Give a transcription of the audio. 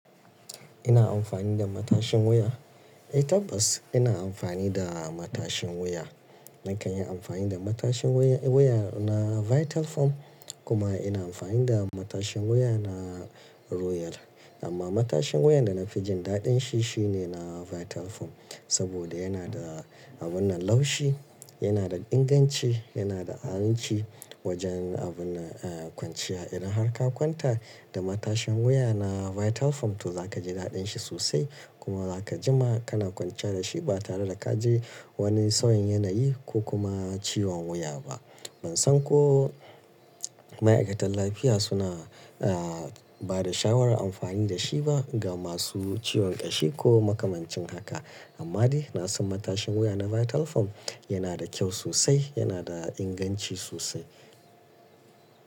Ina amfani da matashin wuya? Eh tabbas ina amfani da matashin wuya. Nakan yi amfani da matashin wuya, wuya na Vital Farm kuma ina amfani da matashin wuya na Royal. Amma matashin wuyan da na fi jin daɗin shi, shi ne na Vital Farm saboda yana da abun nan laushi, yana da inganci, yana da aminci wajen abun kwanciya. Idan har ka kwanta da matashin wuya na Vital Farm to za ka ji daɗin shi sosai. Kuma za ka ji ma kana kwanciya da shi ba tare da ka ji wani tsauyin yanayi ko kuma ciwon wuya ba. Ban san ko ma'aikatan lafiya suna, ah, ba da shawarar amfani da shi ba ga masu ciwon ƙashi ko makamancin haka. Amma dai na san matashin wuya na Vital Farm yana da kyau sosai, yana da inganci sosai.